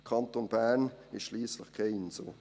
Der Kanton Bern ist schliesslich keine Insel.